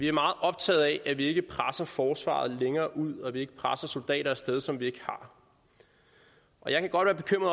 er meget optaget af at vi ikke presser forsvaret længere ud og at vi ikke presser soldater af sted som vi ikke har og jeg kan